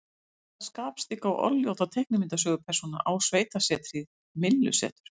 Hvaða skapstygga og orðljóta teiknimyndasögupersóna á sveitasetrið Myllusetur?